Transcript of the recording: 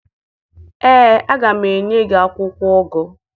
Ee, aga m enye gị akwụkwọ ụgụ